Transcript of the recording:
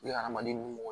Ni adamaden nugu